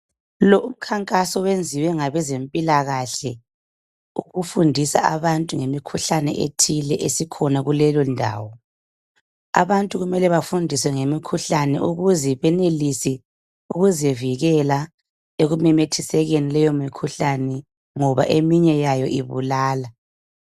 Lo umkhankaso wenziwe ngabezempilakhe ukufundisa abantu ngemikhuhlane ethile esikhona kuleyondawo. Abantu kumele bafundiswe ngemikhuhlane ukuze benelise ukuzivikela ekumemethisekeni leyo mikhuhlane ngoba eminye yayo ibulala.